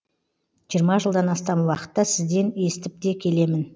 жиырма жылдан астам уақытта сізден естіп те келемін